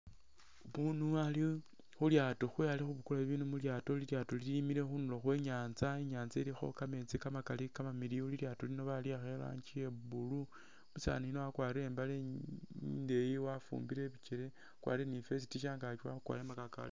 Umunu ali khulyaato khewe ali khubukula bibinu mu lyaato, lilyaato lilimile khundulo khwe nyanza ,inyanza ilikho kameetsi kamakali kamamiliyu, lilyaato lino baliyakha iranji ye blue, umusaani yuno wakwarire imbaale indeyi wafumbile iibikyele, wakwarire ni vest shangaaki wakhukwara makakawale